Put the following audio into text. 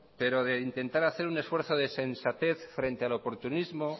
pero de intentar hacer un esfuerzo de sensatez frente al oportunismo